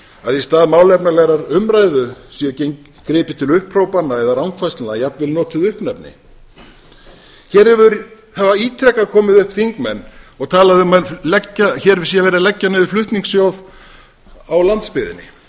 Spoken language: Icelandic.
að í stað málefnalegrar umræðu sé gripið til upphrópana eða rangfærslna eða jafnvel notuð uppnefni hér hafa ítrekað komið upp þingmenn og talað um að hér sé verið að leggja niður flutningssjóð á landsbyggðinni ef menn